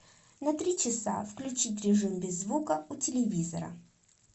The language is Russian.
на три часа включить режим без звука у телевизора